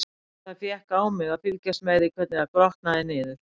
Það fékk á mig að fylgjast með því, hvernig það grotnaði niður.